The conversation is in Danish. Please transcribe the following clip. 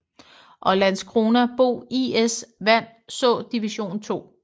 Og Landskrona BoIS vand så Division 2